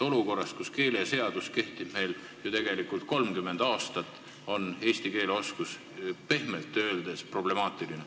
Olukorras, kus keeleseadus on kehtinud ju tegelikult 30 aastat, on eesti keele oskus pehmelt öeldes problemaatiline.